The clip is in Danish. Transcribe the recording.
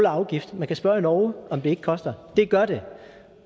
afgift man kan spørge i norge om ikke det koster det gør det